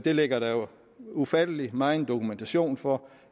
ligger der jo ufattelig megen dokumentation for